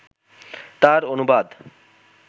তার অনুবাদ